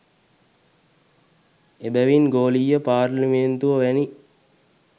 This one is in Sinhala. එබැවින් ගෝලීය පාර්ලිමේන්තුව වැනි